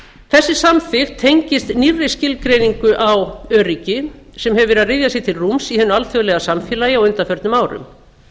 þessi samþykkt tengist nýrri skilgreiningu á öryggi sem hefur verið að ryðja sér til rúms í hinu alþjóðlega samfélagi á undanförnum árum